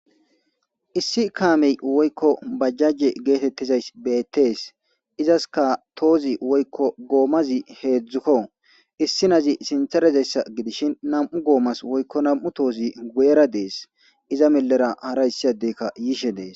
issi kaamey woykko bajjaje geetettizays beettees izaska tohozi woykko goomazi heedzdzukko issi nazi sinthera dizayssa gidishin nam7u goomas woykko nam7u tohozi guyera dees iza mellera hara issi addeykka yishe dees.